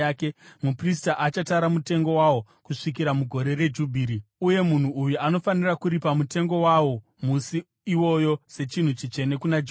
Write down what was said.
muprista achatara mutengo wawo kusvikira mugore reJubhiri, uye munhu uyu anofanira kuripa mutengo wawo musi iwoyo sechinhu chitsvene kuna Jehovha.